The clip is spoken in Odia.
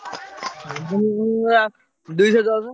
ନବମ ଶ୍ରେଣୀରେ ବା ଦୁଇଶହ ଦଶ।